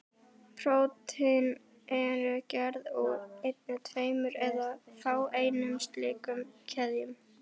Prótín eru gerð úr einni, tveimur eða fáeinum slíkum keðjum.